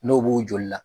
N'o b'o joli la